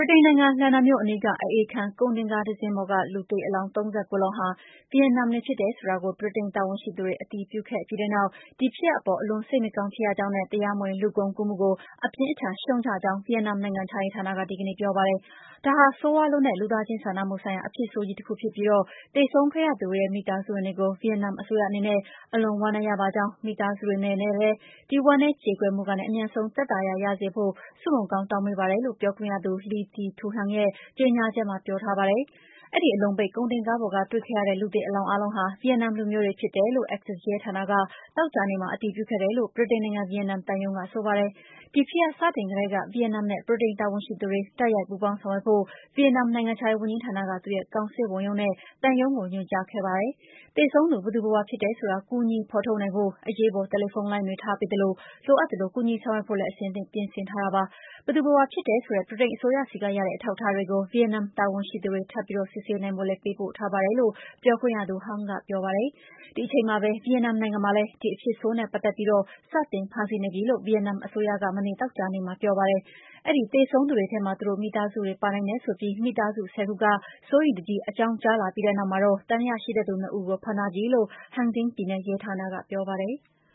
ိတိန်နိုင်ငံ လန်ဒန်မြို့အနီးက အအေးခန်းကုန်တင်ကားတစီးပေါ်က အလောင်း ၃၉ လောင်းဟာ ဗီယက်နမ်တွေဆိုတာ ဗြိတိန်တာဝန်ရှိသူတွေ အတည်ပြုခဲ့ပြီးတဲ့နောက် ဒီဖြစ်ရပ်အပေါ် အလွန်စိတ်မကောင်းဖြစ်ရကြောင်းနဲ့ တရားမဝင် လူကုန်ကူးမှုကို အပြင်းအထန်ရှုတ်ချကြောင်း ဗီယက်နမ် နိုင်ငံခြားရေးဌာနက ဒီကနေ့ ပြောပါတယ်။ ဒါဟာ ဆိုးရွားလွန်းတဲ့ လူသားချင်းစာနာမှုဆိုင်ရာ အဖြစ်ဆိုးကြီးတခုဖြစ်ပြီး သေဆုံးခဲ့ရသူတွေရဲ့ မိသားစုဝင်တွေကို ဗီယက်နမ်အစိုးရအနေနဲ့ အလွန်ဝမ်းနည်းရပါကြောင်း၊ မိသားစုတွေ အနေနဲ့လည်း ဒီဝမ်းနည်းကြေကွဲမှုကနေ အမြန်ဆုံး သက်သာရာရစေဖို့ အစိုးရအဖွဲ့က ဆုမွန်ကောင်း တောင်းပေးနေပါတယ်လို့ ပြောခွင့်ရ Le Thi Thu Hang ရဲ့ ကြေညာချက်မှာ ပြောထားပါတယ်။ အဲဒီ အလုံပိတ် ကုန်တင်ကားပေါ်က တွေ့ရတဲ့ လူသေအလောင်းအားလုံးဟာ ဗီယက်နမ်လူမျိုးတွေ ဖြစ်တယ်လို့ Essex ရဲဌာနက သောကြာနေ့မှာ အတည်ပြုခဲ့တယ်လို့ ဗြိတိန်နိုင်ငံ ဗီယက်နမ်သံရုံးက ဆိုပါတယ်။ ဒီဖြစ်ရပ်စတင်ကတည်းက ဗီယက်နမ်နဲ့ ဗြိတိန်တာဝန်ရှိသူတွေ တိုက်ရိုက်ပူးပေါင်းဆောင်ရွက်ဖို့ ဗီယက်နမ် နိုင်ငံခြားရေးဝန်ကြီးဌာနက သူ့ရဲ့ ကောင်စစ်ဝန်ရုံးနဲ့ သံရုံးကို ညွှန်ကြားထားခဲ့တာပါ။ သေဆုံးသူ ဘယ်သူဘယ်ဝါဖြစ်တယ်ဆိုတာ ကူညီဖော်ထုတ်နိုင်ဖို့ အရေးပေါ် တယ်လီဖုန်းလိုင်းတွေ ထားပေးသလို လိုအပ်သလို ကူညီဆောင်ရွက်ဖို့လည်း အဆင်သင့် ပြင်ဆင်ထားတာ ဖြစ်ပါတယ်။ ဘယ်သူဘယ်ဝါဖြစ်တယ်ဆိုတဲ့ ဗြိတိန်အစိုးရဆီကရတဲ့ အထောက်အထားတွေကို ဗီယက်နမ် တာဝန်ရှိသူတွေ ထပ်ပြီး စစ်ဆေးနိုင်ဖို့လည်း ပေးပို့ထားပါတယ်လို့ ပြောခွင့်ရ Hang က ဆိုပါတယ်။ ဒီအချိန်မှာပဲ ဗီယက်နမ်နိုင်ငံမှာလည်း ဒီအဖြစ်ဆိုးနဲ့ပတ်သက်ပြီး စတင်ဖမ်းဆီးနေပြီလို့ ဗီယက်နမ်အစိုးရက မနေ့ သောကြာနေ့မှာ ပြောပါတယ်။ အဲဒီ သေဆုံးသူတွေထဲမှာ သူတို့မိသားစုတွေ ပါနိုင်တယ်ဆိုပြီး မိသားစု ၁၀ ခုက စိုးရိမ်တကြီး အကြောင်းကြားလာပြီးတဲ့ နောက်မှာတော့ သံသယရှိသူ ၂ ဦးကို ဖမ်းဆီးထားပြီလို့ Ha Tinh ပြည်နယ်ရဲဌာနက ပြောပါတယ်။